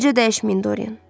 Bircə dəyişməyin, Doryan.